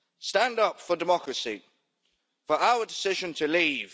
Stand up for democracy for our decision to leave.